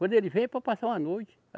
Quando ele vem é para passar uma noite.